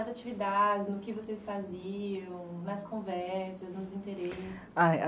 Então, nas atividades, no que vocês faziam, nas conversas, nos interesses?